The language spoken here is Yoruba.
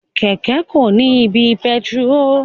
Kẹkẹ ko ni ibi pẹtiró.